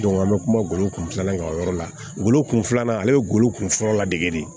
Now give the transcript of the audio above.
an bɛ kuma golo kun filanan kan o yɔrɔ la golo kun filanan ale bɛ golo kunfɔlɔ ladege de